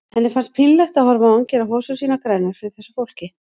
Henni fannst pínlegt að horfa á hann gera hosur sínar grænar fyrir þessu fólki.